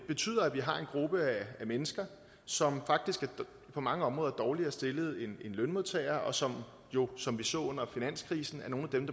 betyder at vi har en gruppe af mennesker som faktisk på mange områder er dårligere stillet end lønmodtagere og som jo som vi så under finanskrisen er nogle af dem